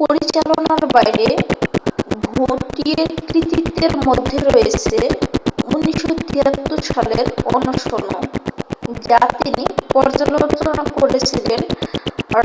পরিচালনার বাইরে ভৌটিয়ের কৃতিত্বের মধ্যে রয়েছে 1973 সালের অনশনও যা তিনি পর্যালোচনা করেছিলেন